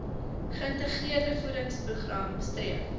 geïntegreerde voedingsprogram streef